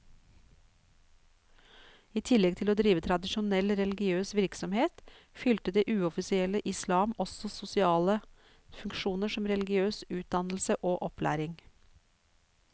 I tillegg til å drive tradisjonell religiøs virksomhet, fylte det uoffisielle islam også sosiale funksjoner som religiøs utdannelse og opplæring.